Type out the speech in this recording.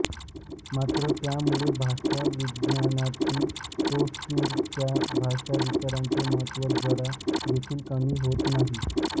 मात्र त्यामुळे भाषाविज्ञानातील सोस्यूरच्या भाषाविचाराचे महत्त्व जरा देखील कमी होत नाही